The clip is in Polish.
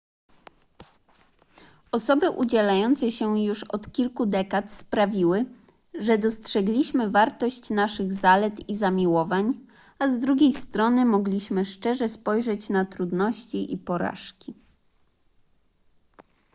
osoby udzielające się już od kilku dekad sprawiły że dostrzegliśmy wartość naszych zalet i zamiłowań a z drugiej strony mogliśmy szczerze spojrzeć na trudności i porażki